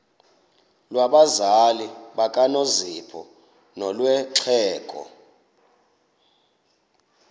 lwabazali bakanozpho nolwexhego